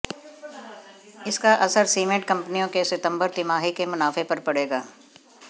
इसका असर सीमेंट कंपनियों के सितंबर तिमाही के मुनाफे पर पड़ेगा